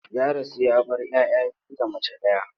Ya rasu ya bar 'ya 'ya biyu da mace ɗaya.